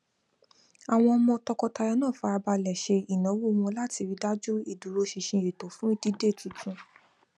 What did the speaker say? àwọn ọmọ tọkọtaya náà fara balẹ ṣe ináwó wọn láti ríi dájú ìdùróṣinṣin ètò fún dídè tuntu